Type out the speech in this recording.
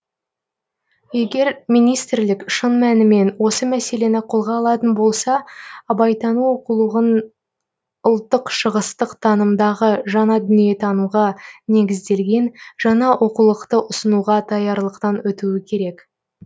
егер министрлік шын мәнімен осы мәселені қолға алатын болса абайтану оқулығын ұлттық шығыстық танымдағы жаңа дүниетанымға негізделген жаңа оқулықты ұсынуға даярлықтан өтуі керек